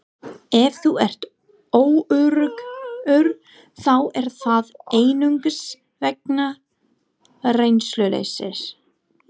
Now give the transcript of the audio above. Ef þú ert óöruggur þá er það einungis vegna reynsluleysis.